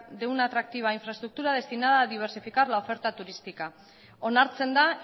de una atractiva infraestructura destinada a diversificar la oferta turística onartzen da